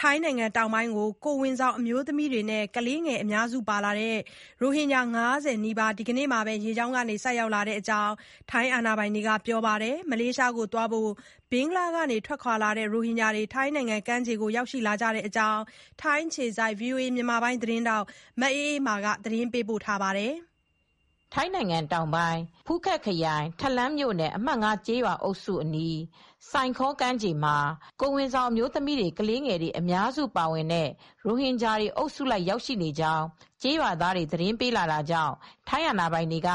ထိုင်းနိုင်ငံတောင်ပိုင်းကို ကိုယ်ဝန်ဆောင် အမျိုးသမီးတွေနဲ့ ကလေးတွေ အများစုပါတဲ့ ရိုဟင်ဂျာ ၅၀ နီးပါး ဒီကနေ့ပဲ ရေကြောင်းကနေ ရောက်ရှိလာကြောင်း အာဏာပိုင်တွေက ပြောလိုက်ပါတယ်။ မလေးရှားနိုင်ငံကိုသွားဖို့ ဘင်္ဂလားဒေ့ရှ်ကနေ ထွက်ခွာလာတဲ့ ရိုဟင်ဂျာတွေ ထိုင်းနိုင်ငံကမ်းခြေကို ရောက်လာကြတဲ့အကြောင်း ထိုင်းအခြေစိုက် ဗွီအိုအေ မြန်မာပိုင်း သတင်းထောက် မအေးအေးမာ သတင်းပေးပို့ထားပါတယ်။ ထိုင်းတောင်ပိုင်း ဖူးခက်ခရိုင် Thalang ထလမ် မြို့နယ် အမှတ် ကျေးရွာ အုပ်စုအနီး Sai Kaew စိုင်ခေါ ကမ်းခြေမှာကိုယ်ဝန်ဆောင် အမျိုးသမီး တွေ ကလေးငယ် တွေအများစုပါဝင်တဲ့ ရိုဟင်ဂျာတွေအုပ်စုလိုက် ရောက်နေကြကြောင်း ကျေးရွာသားတွေသတင်းပေးလာတာကြောင့် ထိုင်းအာပိုင်တွေက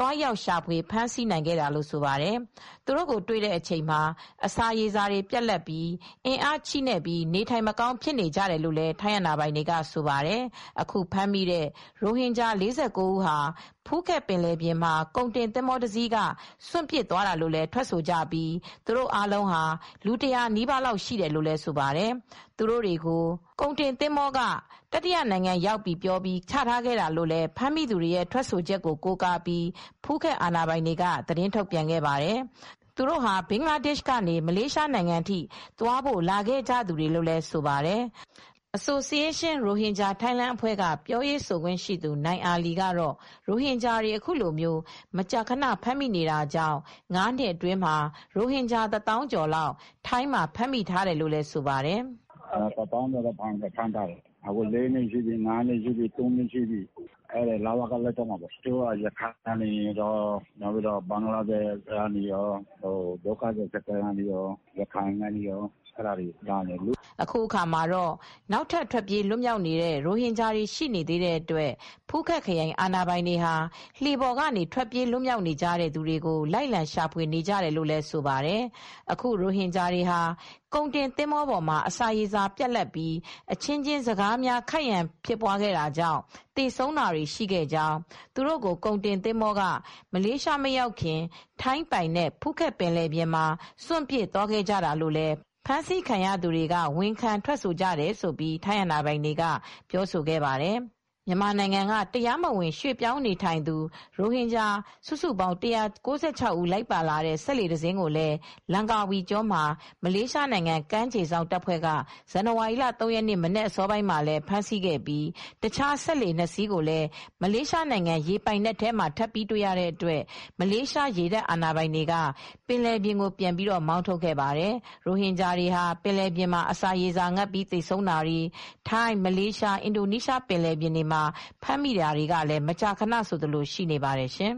သွားရောက် ရှာဖွေ ဖမ်းဆီးနိုင်ခဲ့တာလို့ ဆိုပါတယ် ။ သူတို့ကို တွေ့တဲ့အချိန်မှာ အစာရေစာတွေပြတ်လတ်နေပြီး အင်အားချည့်နဲ့ နေထိုင်မကောင်းဖြစ်နေကြတယ်လို့ လည်း ထိုင်းအာဏာပိုင်တွေကဆိုပါတယ်။ အခုဖမ်းမိတဲ့ ရိုဟင်ဂျာ ၄၉ဦးဟာ ဖူးခက်ပင်လယ်ပြင်မှာ ကုန်တင်သင်္ဘောတစီးက စွန့်ပစ်သွားတာလို့လည်းထွက်ဆိုကြပြီး သူတို့အားလုံးဟာ လူ၁၀၀နီးပါးလောက်ရှိတယ်လို့လည်းဆိုပါတယ် ။ သူတို့တွေကို ခေါ်လာတဲ့ ကုန်တင်သင်္ဘော က တတိယနိုင်ငံ ရောက်ပြီ ပြောပြီး ချထားခဲ့တာလို့ လည်း ဖမ်းမိ သူတွေရဲ့ ထွက်ဆိုချက်ကိုကိုကားပြီး ဖူးခက် အာဏာပိုင် တွေက သတင်းထုတ်ပြန်ခဲ့ပါတယ်။ သူတို့ဟာ ဘင်္ဂလားဒေရှ့်ကနေ မလေးရှားနိုင်ငံထိ သွားဖို့လာခဲ့ကြသူတွေလည်းဆိုပါတယ် ။ Association Rohingya Thailand အဖွဲ့အစည်းက ပြောရေးဆိုခွင့်ရှိသူ နိုင်အာလီကတော့ ရိုဟင်ဂျာတွေအခုလိုမကြာခဏဖမ်းမိနေတာကြောင့် ၅နှစ်အတွင်းမှာ ရိုဟင်ဂျာတသောင်းကျော်လောက် ထိုင်းမှာ ဖမ်းမိထားတယ်လို့ဆိုပါတယ်။ "တသောင်းကျော်လောက်ဖမ်းထားတယ် သူတို့က ထိုင်းလ၀ကလက်ထဲမှာပဲ တချို့က ၄နှစ်ရှိပြီ ၅နှစ်ရှိပြီ ၃နှစ်လောက်ရှိပြီ လ၀ကလက်ထဲမှာပဲသူတို့က ရခိုင်ကနေလာတာတွေကော ဘင်္ဂလားဒေရှ့်ဒုက္ခသည်စခန်းကလာတာတွေရော ရခိုင်ကနေကော အဲဒါကနေ လာကြတာလေ" အခုအခါမှာတော့ နောက်ထပ်ထွက်ပြေးလွတ်မြောက်နေတဲ့ရိုဟင်ဂျာတွေရှိနေသေးတဲ့အတွက် ဖူးခက်ခရိုင် အာဏာပိုင်တွေဟာ လှေပေါ်ကနေ ထွက်ပြေးလွတ်မြောက်နေကြတဲ့ သူတွေကိုလည်း လိုက်လံ ရှာဖွေ နေကြ တယ်လိုဆိုပါတယ် ။ အခုရိုဟင်ဂျာတွေဟာ ကုန်တင်သင်္ဘောပေါ်မှာ အစာရေစာပြတ်လတ်ပြီး အချင်းချင်း စကားများခိုက်ရန်ဖြစ်သွားတာကြောင့် သေဆုံးတာတွေရှိခဲ့ကြောင်း သူတို့ကို ကုန်တင်သင်္ဘောက မလေးရှားမရောက်ခင်ထိုင်းပိုင်နက်ဖူးခက်ပင်လယ်ပြင်မှာ စွန်ပစ်သွားခဲ့တာလို့လည်း ဖမ်းဆီးခံရသူတွေဝန်ခံထွက်ဆိုကြတယ်လို့ ထိုင်းအာဏာပိုင်တွေကပြောဆိုခဲ့ပါတယ်။ မြန်မာနိုင်ငံက တရားမဝင် ရွှေ့ပြောင်းနေထိုင်သူ ရိုဟင်ဂျာ စုစုပေါင်း ဦး လိုက်ပါလာတဲ့ စက်လှေ တစင်း ကို လန်ကာဝီကျွန်းမှာ မလေးရှားနိုင်ငံ ကမ်းခြေစောင့်တပ်ဖွဲ့က ဇန်နဝါရီ ၃ရက်နေ့မနက် အစောပိုင်းလည်းဖမ်းဆီးခဲ့ပြီးတခြား စက်လှေနှစ်စီးကိုလည်း မလေးရှားနိုင်ငံ ရေပိုင်နက်မှာ ထပ်ပြီးတွေ့တဲ့အတွက် မလေးရှားရေတပ်အာဏာပိုင်တွေက ပင်လယ်ပြင်ကိုပြန်ပြီး မောင်းထုတ်ခဲ့ပါတယ်။ ရိုဟင်ဂျာတွေဟာပင်လယ်ပြင်မှာအစာရေစာငတ်ပြီးသေဆုံးတာတွေ ထိုင်း မလေးရှား အင်ဒိုနီးရှားပင်လယ်ပြင်တွေမှာဖမ်းမိတာတွေလည်း မကြာခဏဆိုသလို ရှိနေပါတယ်ရှင်